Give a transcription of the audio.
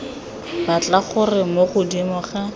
batla gore mo godimo ga